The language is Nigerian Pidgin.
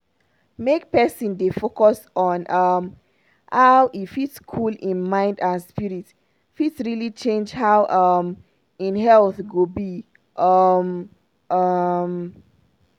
make pesin dey focus on um how e fit cool hin mind and spirit fit really change how um hin health go be. um um